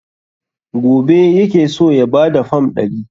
Gobe yake so ya ba da fam ɗari.